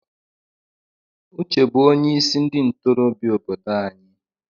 Uche bụ onye isi ndị ntorobịa obodo anyị.